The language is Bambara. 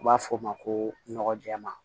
U b'a fɔ o ma ko nɔgɔ jɛman